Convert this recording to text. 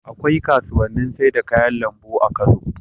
Akwai kasuwannin sai da kayan lambu a Kano